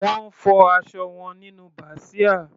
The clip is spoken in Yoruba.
Wọ́n fọ aṣọ wọn nínú bàsíà.